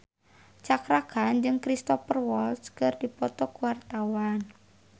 Cakra Khan jeung Cristhoper Waltz keur dipoto ku wartawan